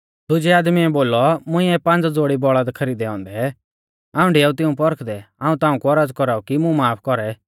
दुजै आदमीऐ बोलौ मुंइऐ पांज़ ज़ोड़ी बौल़द खरीदै औन्दै हाऊं डिआऊ तिऊं परखदै हाऊं ताऊं कु औरज़ कौराऊ कि मुं माफ कौरै